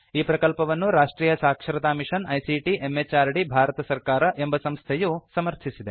ಈ ಪ್ರಕಲ್ಪವನ್ನು ರಾಷ್ಟ್ರಿಯ ಸಾಕ್ಷರತಾ ಮಿಷನ್ ಐಸಿಟಿ ಎಂಎಚಆರ್ಡಿ ಭಾರತ ಸರ್ಕಾರ ಎಂಬ ಸಂಸ್ಥೆಯು ಸಮರ್ಥಿಸಿದೆ